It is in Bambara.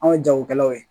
Anw ye jagokɛlaw ye